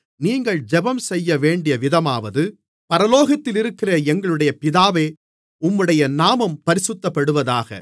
நீங்கள் ஜெபம் செய்யவேண்டிய விதமாவது பரலோகத்திலிருக்கிற எங்களுடைய பிதாவே உம்முடைய நாமம் பரிசுத்தப்படுவதாக